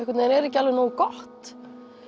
er ekki alveg nógu gott